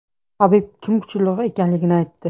Habib kim kuchliroq ekanligini aytdi.